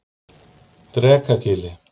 Drekagili